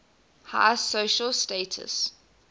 high social status